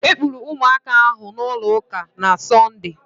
E kupụrụ ụmụaka ahụ n'ụlọ ụka na Sọnde